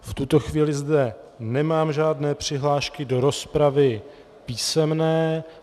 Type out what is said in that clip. V tuto chvíli zde nemám žádné přihlášky do rozpravy písemné.